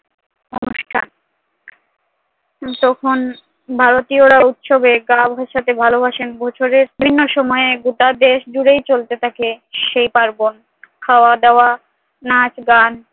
অনুষ্ঠান তখন ভারতীয়রা উৎসবে গা ভাসাতে ভালোবাসেন, বছরের ভিন্ন সময়ে গোটা দেশজুড়েই চলতে থাকে সেই পার্বণ, খাওয়া-দাওয়া, নাচ-গান